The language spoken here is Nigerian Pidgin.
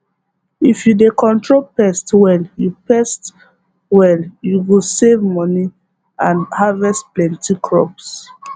if you dey control pest well you pest well you go save money and harvest plenty crops